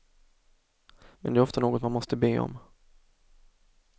Men det är ofta något man måste be om.